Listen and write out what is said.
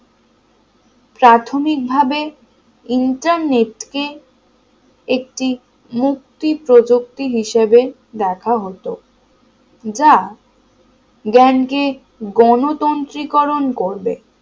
প্রাথমিকভাবে ই internet কে একটি মুক্তি প্রযুক্তি হিসেবে দেখা হতো যা জ্ঞান কে গণতন্ত্রী করুন করবে